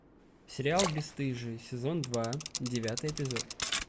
сериал бесстыжие сезон два девятый эпизод